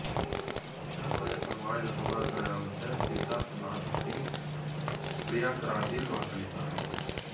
உத்தர பிரதேச மாநில சுகாதாரத்துறை அமைச்சர் சித்தார்த் நாத் சிங் பிரயாக்ராஜில் வாக்களித்தார்